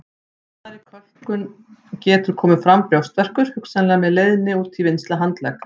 Við svæsnari kölkun geta komið fram brjóstverkir hugsanlega með leiðni út í vinstri handlegg.